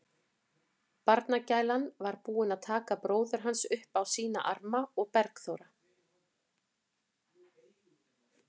Barnagælan var búin að taka bróður hans upp á sína arma og Bergþóra